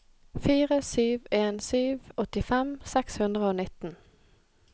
fire sju en sju åttifem seks hundre og nitten